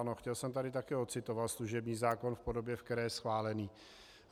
Ano, chtěl jsem tady také ocitovat služební zákon v podobě, ve které je schválen.